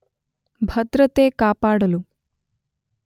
ಭದ್ರತೆ ಕಾಪಾಡಲು